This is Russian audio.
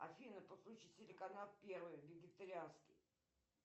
афина подключи телеканал первый вегетарианский